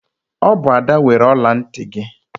Ọ bụ Ada weere ọla ntị gị.